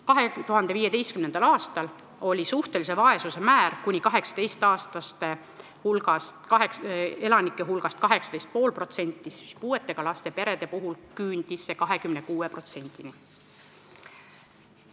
2015. aastal oli suhtelise vaesuse määr kuni 18-aastaste elanike hulgas 18,5%, puudega laste perede seas küündis see 26%-ni.